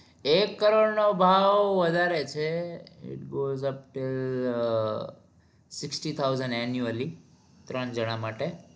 એક કરોડ નો ભાવ વધારે છે it god sixty thousand annually ત્રણ જાના માટે